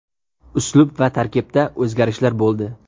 Uslub va tarkibda o‘zgarishlar bo‘ldi.